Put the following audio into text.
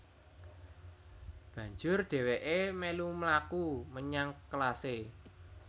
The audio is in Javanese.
Banjur dhèwèké mèlu mlaku menyang kelasé